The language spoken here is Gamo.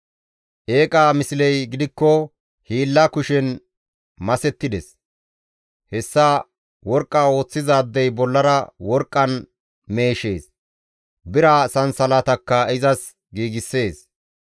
Eeqa misley gidikko hiilla kushen masettides; hessa worqqa ooththizaadey bollara worqqan meeshees; bira sansalatakka izas giigssees.